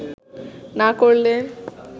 না করলে